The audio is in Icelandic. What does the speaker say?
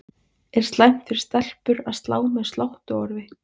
Er slæmt fyrir stelpur að slá með sláttuorfi?